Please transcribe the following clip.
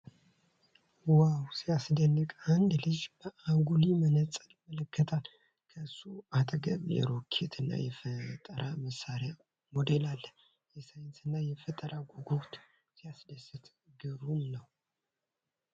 ዋው ሲያስደንቅ! አንድ ልጅ በአጉሊ መነጽር ይመለከታል ። ከእሱ አጠገብ የሮኬት እና የጠፈር መሣሪያ ሞዴል አለ። የሳይንስ እና የጠፈር ጉጉት! ሲያስደስት! ግሩም ነው !!